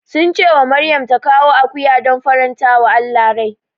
Sun ce wa Maryam ta kawo akuya don farantawa Allah rai.